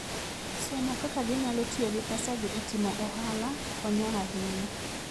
Somo kaka ginyalo tiyo gi pesagi e timo ohala konyo ahinya.